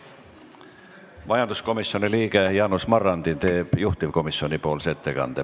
Majanduskomisjoni liige Jaanus Marrandi teeb juhtivkomisjoni ettekande.